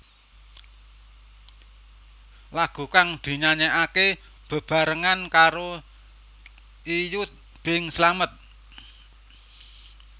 Lagu kang dinyanyèkaké bebarengan karo Iyut Bing Slamet